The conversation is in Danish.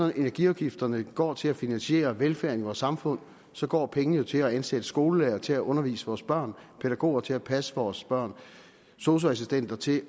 at energiafgifterne går til at finansiere velfærden i vores samfund så går pengene jo til at ansætte skolelærere til at undervise vores børn pædagoger til at passe vores børn sosu assistenter til